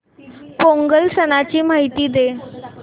पोंगल सणाची माहिती दे